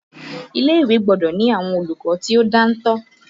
Ilé-ìwé gbọ́dọ̀ ni àwọn olùkọ́ tí ó dáńtọ́